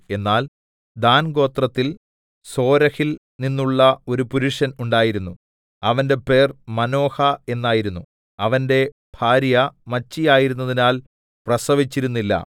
എന്നാൽ ദാൻഗോത്രത്തിൽ സോരഹിൽ നിന്നുള്ള ഒരു പുരുഷൻ ഉണ്ടായിരുന്നു അവന്റെ പേർ മാനോഹ എന്നായിരുന്നു അവന്റെ ഭാര്യ മച്ചിയായിരുന്നതിനാൽ പ്രസവിച്ചിരുന്നില്ല